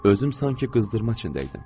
Özüm sanki qızdırma içindəydim.